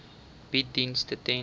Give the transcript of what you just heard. bied dienste ten